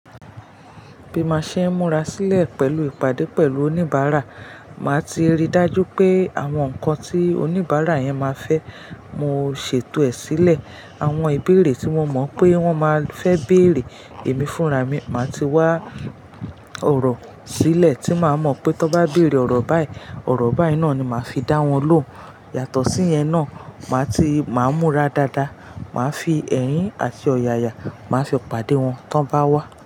Bí mo ṣe ń múra sílẹ̀ pẹ̀lú ìpàdé pẹ̀lú oníbàárà, màá ti rí i dájú pé àwọn nǹkan tí oníbàárà yẹn ma fẹ́, mo ṣètò ẹ̀ sílẹ̀. Àwọn ìbéèrè tí mo mọ̀ pé wọ́n máa fẹ́ bèèrè èmi fúnra mi, màá ti wá ọ̀rọ̀ sílẹ̀ tí màá mọ̀ pé tó bá bèèrè ọ̀rọ̀ báyìí, ọ̀rọ̀ báyìí náà ni màá fi dá wọn lóhun. Yàtọ̀ sí yẹn náà, màá ti, màá múra dáadáa, màá fi ẹ̀rin àti ọ̀yàyà, màá fi pàdé wọn tí wọ́n bá wá.